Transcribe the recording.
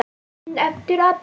En eftir að Baldur.